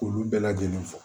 K'olu bɛɛ lajɛlen fɔ